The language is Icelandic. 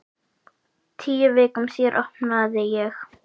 Tíu vikum síðar opnaði ég.